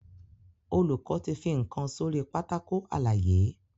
Olùkó tí fí nkán sórí Pátákó àlàyé.